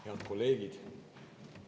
Head kolleegid!